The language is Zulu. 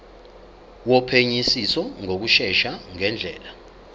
wophenyisiso ngokushesha ngendlela